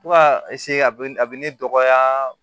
Fo ka a bɛ a bɛ ne dɔgɔya